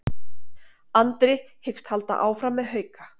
Andri hyggst halda áfram með Hauka